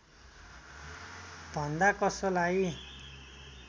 भन्दा कसलाई